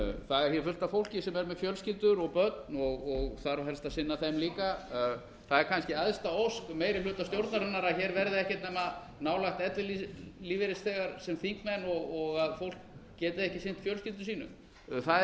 það er hér fullt af fólki sem er með fjölskyldur og börn og þarf helst að sinna þeim líka það er kannski æðsta ósk meiri hluta stjórnarinnar að hér verði ekkert nema nálægt ellilífeyrisþegar sem þingmenn og að fólk geti ekki sinnt fjölskyldum sínum það